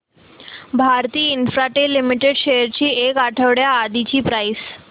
Bharti Infratel Limited shares ची एक आठवड्या आधीची प्राइस